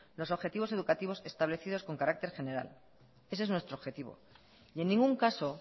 los objetivos educativos establecidos con carácter general ese es nuestro objetivo y en ningún caso